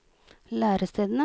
lærestedene